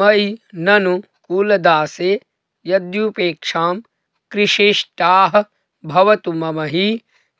मयि ननु कुलदासे यद्युपेक्षां कृषीष्टाः भवतु मम हि